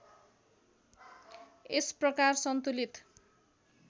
यस प्रकार सन्तुलित